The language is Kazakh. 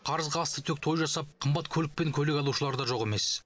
қарызға аста төк той жасап қымбат көлік пен көйлек алушылар да жоқ емес